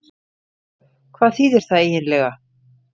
Hvað þýðir það eiginlega?